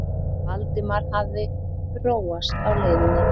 Valdimar hafði róast á leiðinni.